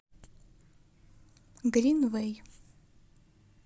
гринвэй